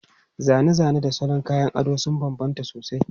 Zane-zane da salon kayan ado sun bambanta sosai.